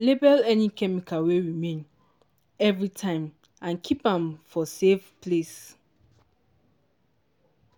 label any chemical wey remain everytime and keep am for safe place.